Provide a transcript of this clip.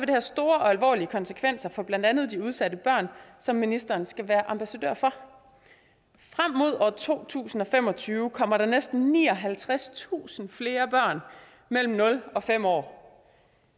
det have store og alvorlige konsekvenser for blandt andet de udsatte børn som ministeren skal være ambassadør for frem mod år to tusind og fem og tyve kommer der næsten nioghalvtredstusind flere børn mellem nul og fem år